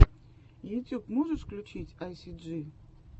ютьюб можешь включить айсиджи